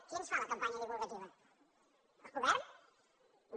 qui ens fa la campanya di·vulgativa el govern no